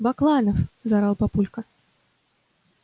бакланов заорал папулька